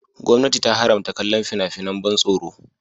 Gwamnati ta haramta kallon fina-finan ban tsoro.